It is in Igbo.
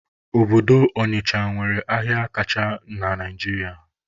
Obodo Ọnịcha nwere ahịa kacha na Naijiria